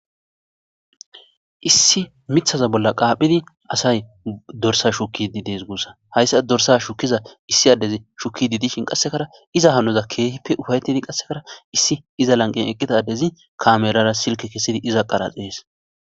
issi mithaza bolla qaaphidi asay dorsa shukididees guussa hayssa dorsa shukkiza issi addezi shukki didishin qassekara iza hanoza keehippe ufayettidi qassekara issi iza lanqen eqqitadezi kamerara silke kesidi iza qaraxhees